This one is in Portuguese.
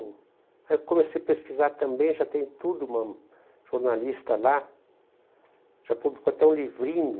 Aí eu comecei a pesquisar também, já tem tudo, uma jornalista lá, já publicou até um livrinho.